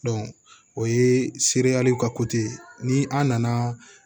o ye seereyali ka ni an nana